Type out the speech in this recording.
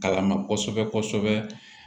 Kala ma kosɛbɛ kosɛbɛ